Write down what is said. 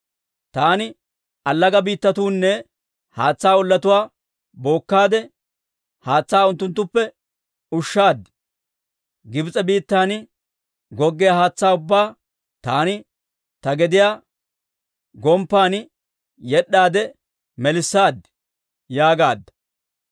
Taani allaga biittatuunne haatsaa ollatuwaa bookkaade, haatsaa unttunttuppe ushaad. Gibs'e biittan goggiyaa haatsaa ubbaa taani ta gediyaa gomppan yed'd'aade melissaad» yaagaadda.